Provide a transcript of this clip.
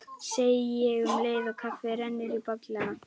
segi ég um leið og kaffið rennur í bollana.